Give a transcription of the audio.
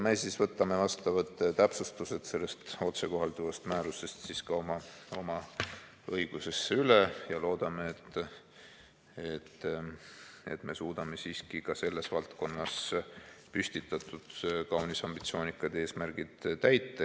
Me siis võtame vastavad täpsustused sellest otsekohalduvast määrusest ka oma õigusesse üle ja loodame, et me suudame siiski ka selles valdkonnas püstitatud kaunis ambitsioonikad eesmärgid täita.